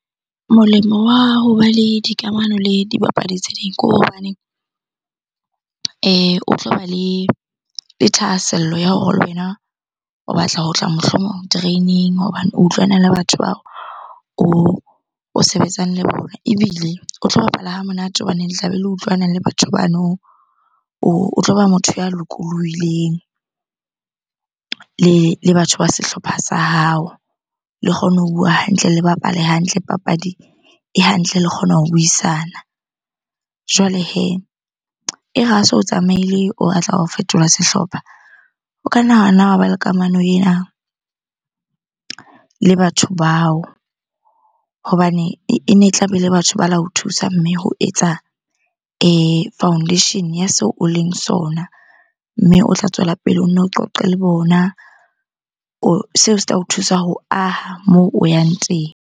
Molemo wa hoba le dikamano le dibapadi tse ding ke hobaneng o tloba le thahasello ya hore le wena o batla ho tla mohlomong training hobane o utlwana le batho bao o sebetsang le bona. Ebile o tlo bapala ha monate hobaneng le tlabe le utlwanang le batho bano, o tloba motho ya lokolohileng le batho ba sehlopha sa hao. Le kgone ho bua hantle, le bapale hantle papadi e hantle le kgona ho buisana. Jwale hee, e re ha se o tsamaile o batla ho fetola sehlopha. O ka wa ba le kamano ena le batho bao hobane e ne e tlabe ele batho ba la o thusa mme ho etsa foundation-e ya seo o leng sona. Mme o tla tswela pele o nno o qoqe le bona. Seo se tla o thusa ho aha moo o yang teng.